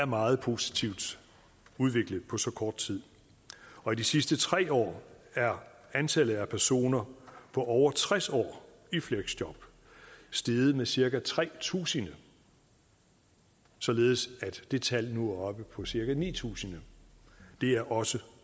meget positiv udvikling på så kort tid og i de sidste tre år er antallet af personer på over tres år i fleksjob steget med cirka tre tusind således at det tal nu er oppe på cirka ni tusind det er også